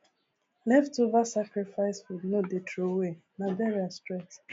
leftover sacrifice food no dey throwayna burial straight